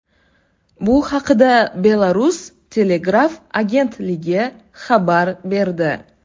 Bu haqda Belarus telegraf agentligi xabar berdi .